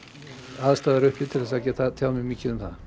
aðstæður uppi til þess að geta tjáð mig mikið um það